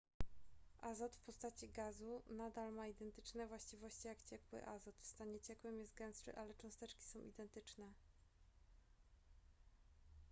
azot w postaci gazu nadal ma identyczne właściwości jak ciekły azot w stanie ciekłym jest gęstszy ale cząsteczki są identyczne